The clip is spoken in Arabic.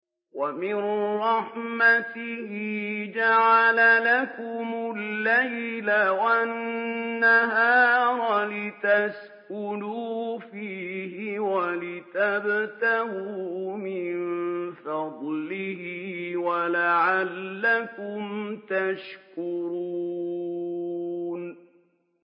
وَمِن رَّحْمَتِهِ جَعَلَ لَكُمُ اللَّيْلَ وَالنَّهَارَ لِتَسْكُنُوا فِيهِ وَلِتَبْتَغُوا مِن فَضْلِهِ وَلَعَلَّكُمْ تَشْكُرُونَ